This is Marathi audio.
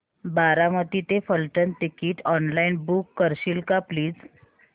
बारामती ते फलटण टिकीट ऑनलाइन बुक करशील का प्लीज